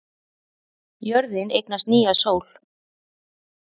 Jörðin eignast nýja sól